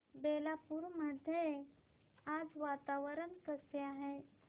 बेलापुर मध्ये आज वातावरण कसे आहे